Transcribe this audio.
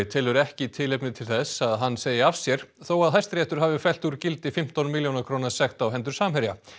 telur ekki tilefni til þess að hann segi af sér þó að Hæstiréttur hafi fellt úr gildi fimmtán milljóna króna sekt á hendur Samherja